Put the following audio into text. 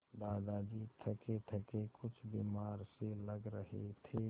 दादाजी थकेथके कुछ बीमार से लग रहे थे